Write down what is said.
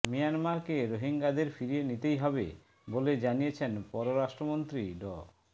মিয়ানমারকে রোহিঙ্গাদের ফিরিয়ে নিতেই হবে বলে জানিয়েছেন পররাষ্ট্রমন্ত্রী ড